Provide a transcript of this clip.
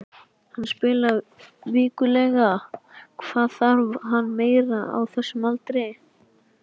Hann spilar vikulega, hvað þarf hann meira á þessum aldri?